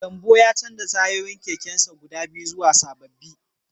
Gambo ya canza tayoyin kekensa guda biyu zuwa sababbi